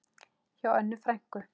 Hjá Önnu frænku.